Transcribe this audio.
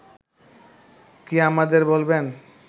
কি আমাদের বলবেন